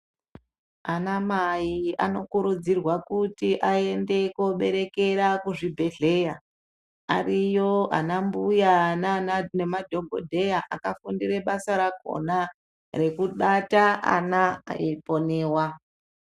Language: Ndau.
Ana mai anokurudzirwa kuti aende koberekera kuzvibhedhleya ariyo ana mbuya nana nemadhogodheya akafundire basa rakhona rekubata ana eiponewa.